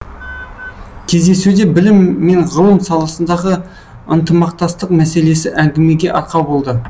кездесуде білім мен ғылым саласындағы ынтымақтастық мәселесі әңгімеге арқау болды